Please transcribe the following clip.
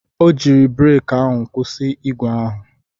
O jiiri breki ahụ kwụsị ígwè ahụ.